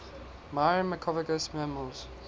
myrmecophagous mammals